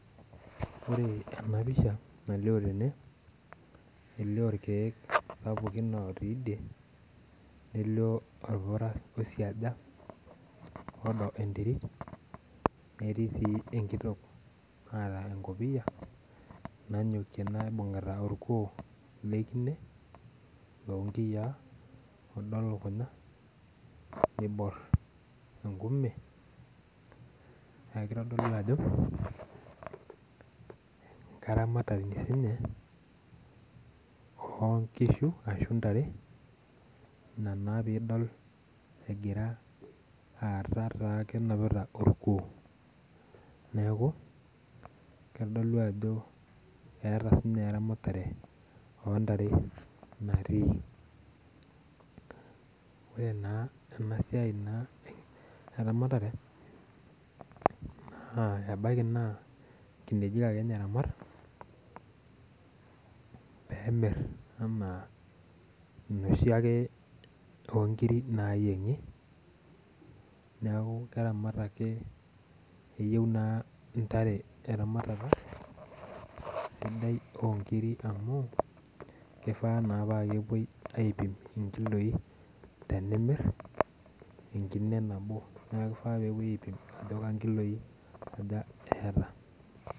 Ore enapisha nalio tene elio irkiek sapukin otii idie, nelio orpura oisiaja olio enterit netiibsi enkitok naata enkopiya nanyokie naibungita orkul lekine lonkiyaa odo lukunya nibor enkume neaku kitodolu ajo enkaramatani ninye onkishu ashubntare ina na pidol egira aaku kenapita orkuo neaku kadolu ajo eeta sinye eramatare ontare natii ore na emasia eramatare ebaki na nkinejik ake ninye eramat pemir ana noshiake onkirik nayiengi neakuvkeramat ake keyieu na ntare eramatare sidai onkirik amu kifaa na kepuoi aipim nkiloi tenimie enkine nabo na kifaa pepuoi aipim ajo nkiloi aja eeta.